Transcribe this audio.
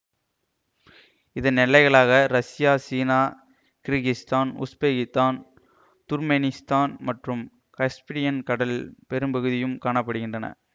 இதன் எல்லைகளாக ரசியா சீனா கிரிகிஸ்தான் உஸ்பெகித்தான் துர்க்மெனிஸ்தான் மற்றும் கஸ்பியன் கடலின் பெரும்பகுதியும் காண படுகின்றன